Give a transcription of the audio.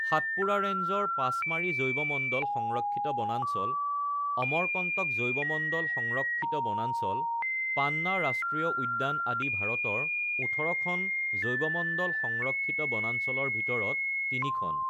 সাতপুৰা ৰেঞ্জৰ পাচমাৰী জৈৱমণ্ডল সংৰক্ষিত বনাঞ্চল, অমৰকন্তক জৈৱমণ্ডল সংৰক্ষিত বনাঞ্চল, পান্না ৰাষ্ট্ৰীয় উদ্যান আদি ভাৰতৰ ১৮খন জৈৱমণ্ডল সংৰক্ষিত বনাঞ্চলৰ ভিতৰত তিনিখন।